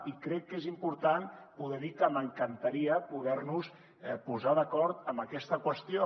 i crec que és important poder dir que m’encantaria poder nos posar d’acord en aquesta qüestió